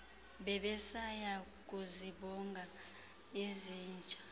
bebesaya kuzibonga izinja